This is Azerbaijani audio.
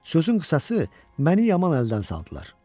Sözün qısası, məni yaman əldən saldılar.